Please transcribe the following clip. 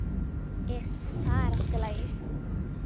Iss, það er allt í lagi.